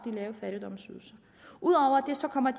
lave fattigdomsydelser ud over det kommer